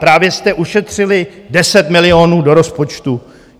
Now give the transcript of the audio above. Právě jste ušetřili 10 milionů do rozpočtu!